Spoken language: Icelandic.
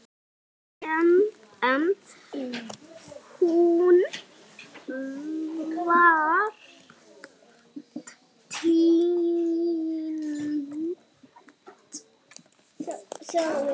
En hún var týnd.